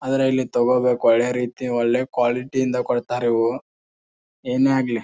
ಆದ್ರ ಇಲ್ಲಿ ತಗೋಬೇಕು ಒಳ್ಳೆ ರೀತಿ ಒಳ್ಳೆ ಕ್ವಾಲಿಟಿ ಇಂದ ಕೊಡ್ತಾರ ಇವು ಏನೆ ಆಗ್ಲಿ.